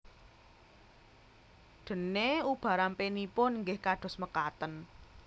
Dènè ubarampènipun inggih kados mekaten